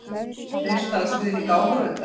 Treysta á stuðning áhorfenda